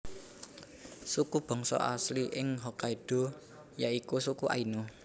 Suku bangsa asli ing Hokkaido ya iku suku Ainu